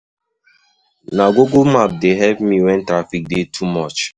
Na Google Map dey help me wen traffic dey too much.